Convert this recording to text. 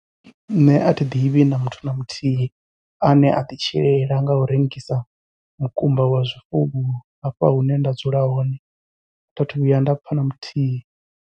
Nṋe athi ḓivhi na muthu na muthihi, ane a ḓi tshilela ngau rengisa mukumba wa zwifuwo hafha hune nda dzula hone tha thu vhuya nda pfha na muthihi.